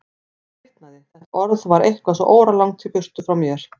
Ég svitnaði, þetta orð var eitthvað svo óralangt í burtu frá mér.